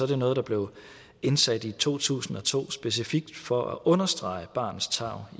det noget der blev indsat i to tusind og to specifikt for at understrege barnets tarv